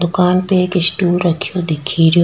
दुकान पे एक स्टूल रख्यो दिखेरियो।